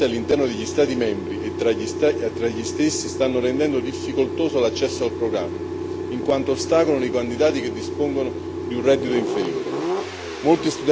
Le ineguaglianze all'interno degli Stati membri e tra gli stessi stanno rendendo difficoltoso l'accesso al programma in quanto ostacolano i candidati che dispongono di un reddito inferiore.